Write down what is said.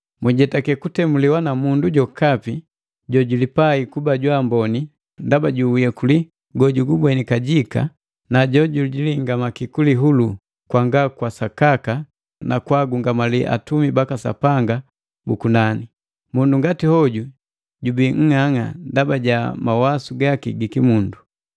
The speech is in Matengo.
Mwijetake kutemuliwa na mundu jokapi jojulipai kuba jwa amboni ndaba ju uyekuli gojugubweni kajika na jojuhingamaki kulihulu kwanga kwa sakaka na kwaagungamali atumi baka Sapanga bu kunani. Mundu ngati hoju jubii nng'ang'a ndaba ja mawasu gaki gi kimundu,